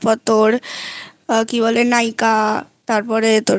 তারপর তোর nykaa তারপরে তোর